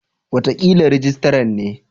Wataƙila rijistaran ne.